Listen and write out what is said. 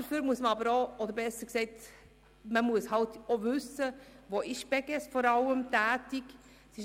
Dazu muss man wissen, in welchem Bereich die Beges tätig ist.